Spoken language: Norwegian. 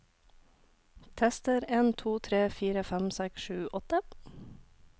Tester en to tre fire fem seks sju åtte